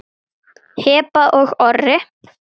Heba og Orri.